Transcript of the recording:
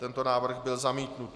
Tento návrh byl zamítnut.